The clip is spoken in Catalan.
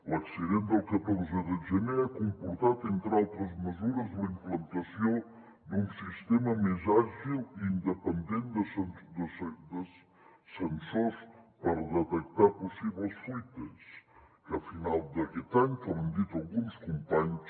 l’accident del catorze de gener ha comportat entre altres mesures la implantació d’un sistema més àgil i independent de sensors per detectar possibles fuites que a final d’aquest any com han dit alguns companys